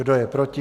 Kdo je proti?